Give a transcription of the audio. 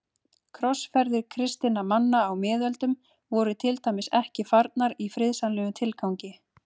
Krossferðir kristinna manna á miðöldum voru til dæmis ekki farnar í friðsamlegum tilgangi.